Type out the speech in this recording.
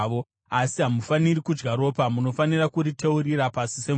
Asi hamufaniri kudya ropa; munofanira kuriteurira pasi semvura.